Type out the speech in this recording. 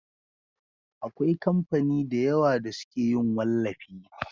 Akwai kamfani da yawa da suke yin wallafi